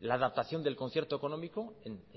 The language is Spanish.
la adaptación del concierto económico en